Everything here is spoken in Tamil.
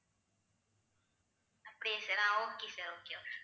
அப்படியா sir ah okay sir okay